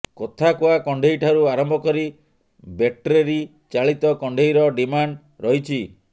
କଥା କୁହା କଣ୍ଢେଇ ଠାରୁ ଆରମ୍ଭ କରି ବେଟ୍ରେରୀ ଚାଳିତ କଣ୍ଢେଇର ଡ଼ିମାଣ୍ଡ ରହିଛି